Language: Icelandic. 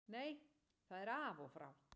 Nei það er af og frá.